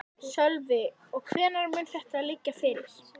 Sölvi: Og hvenær mun þetta liggja fyrir?